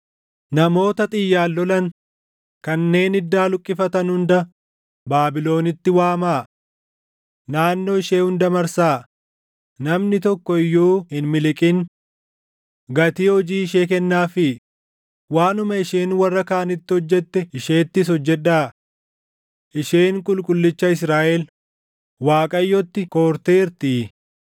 “Namoota Xiyyaan lolan kanneen iddaa luqqifatan hunda Baabilonitti waamaa. Naannoo ishee hunda marsaa; namni tokko iyyuu hin miliqin. Gatii hojii ishee kennaafii; waanuma isheen warra kaanitti hojjette isheettis hojjedhaa. Isheen Qulqullicha Israaʼel, Waaqayyotti koorteertii.